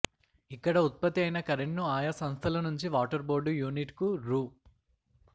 ఇక్కడ ఉత్పత్తి అయిన కరెంట్ ను ఆయా సంస్థల నుంచి వాటర్ బోర్డు యూనిట్ కు రూ